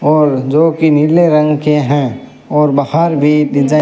और जो की नीले रंग के है और बाहर भी डिजाइन --